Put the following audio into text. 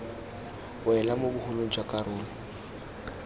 wela mo bogolong jwa karolo